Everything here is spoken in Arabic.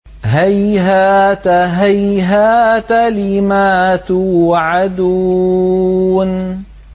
۞ هَيْهَاتَ هَيْهَاتَ لِمَا تُوعَدُونَ